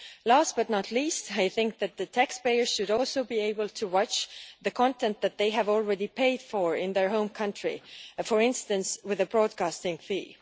Last but not least, I think that taxpayers should also be able to watch the content that they have already paid for in their home country, for instance with a broadcasting fee.